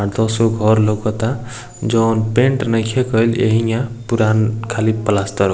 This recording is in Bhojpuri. अ दो सौ घर लोकाता जोन पैंट नइखे केएल हिया पुरान खाली पलास्तर --